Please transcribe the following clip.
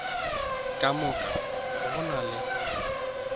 ka moka go na le